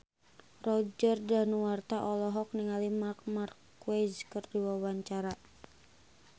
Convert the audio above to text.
Roger Danuarta olohok ningali Marc Marquez keur diwawancara